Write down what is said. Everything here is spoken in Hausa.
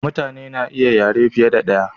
mutane na iya yare fiye da daya